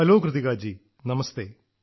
hello Kritika ji നമസ്തെ